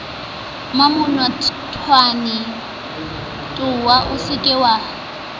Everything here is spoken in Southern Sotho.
mmamenotwana towe o se ke